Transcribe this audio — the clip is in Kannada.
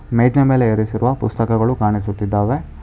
ಮೇಜಿನ ಮೇಲೆ ಇರಿಸಿರುವ ಪುಸ್ತಕಗಳು ಕಾಣಿಸುತ್ತಿದ್ದಾವೆ.